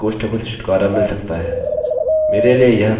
मेरे लिए वह काफी उत्तम दिखता है